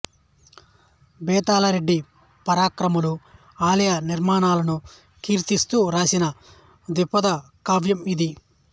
బేతాళ రెడ్డి పరాక్రమాలు ఆలయ నిర్మాణాలను కీర్తిస్తూ వ్రాసిన ద్విపద కావ్యం ఇది